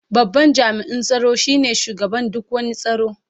Babban jami'in tsaro shine shugaban duk wani tsaro.